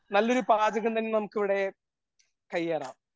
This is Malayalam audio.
നല്ലൊരു പാചകം തന്നെ നമുക്കിവിടെ കയ്യേറാം.